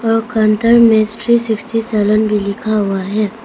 और में three sixty salon लिखा हुआ है।